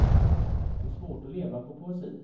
Det är svårt att leva på poesi.